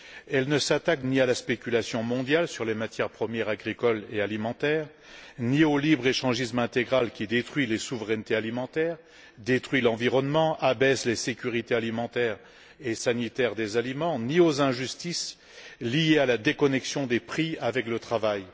Elle ne s'attaque ni à la spéculation mondiale sur les matières premières agricoles et alimentaires ni au libre échangisme intégral, qui détruit les souverainetés alimentaires, détruit l'environnement et abaisse les sécurités alimentaires et sanitaires des aliments, ni aux injustices liées à la déconnexion des prix par rapport au travail.